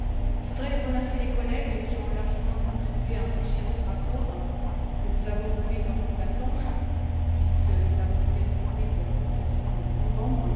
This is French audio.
Je voudrais remercier les collègues qui ont largement contribué à enrichir ce rapport que nous avons mené tambour battant, puisque nous avons été informés de la communication au mois de novembre.